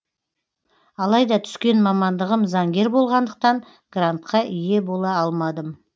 алайда түскен мамандығым заңгер болғандықтан грантқа ие бола алмадым